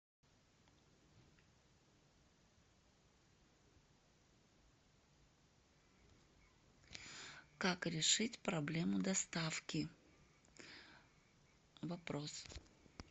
как решить проблему доставки вопрос